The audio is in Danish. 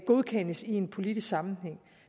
godkendes i en politisk sammenhæng